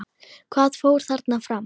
Hvað fór þarna fram?